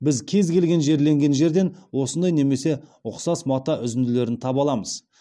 біз кез келген жерленген жерден осындай немесе ұқсас мата үзінділерін таба аламыз